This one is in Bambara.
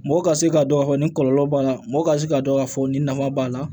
Mɔgɔ ka se k'a dɔn k'a fɔ nin kɔlɔlɔ b'a la mɔgɔ ka se k'a dɔn k'a fɔ nin nafa b'a la